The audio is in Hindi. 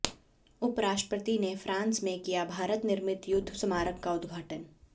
उपराष्ट्रपति ने फ्रांस में किया भारत निर्मित युद्ध स्मारक का उद्घाटन